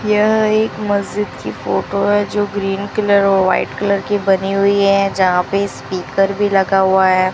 यह एक मस्जिद की फोटो है जो ग्रीन कलर और वाइट कलर की बनी हुई है जहाँ पे स्पीकर भी लगा हुआ है।